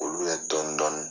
K'olu kɛ dɔni dɔni.